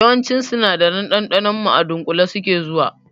Yawancin sinadaran ɗanɗanon mu a dunƙule suke zuwa